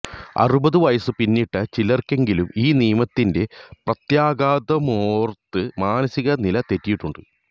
അറുപത് വയസ്സ് പിന്നിട്ട ചിലര്ക്കെങ്കിലും ഈ നിയമത്തിന്റെ പ്രത്യാഘാതമോര്ത്ത് മാനസിക നില തെറ്റിയിട്ടുണ്ട്